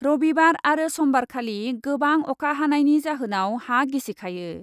रबिबार आरो समबारखालि गोबां अखा हानायनि जाहोनाव हा गिसिखायो ।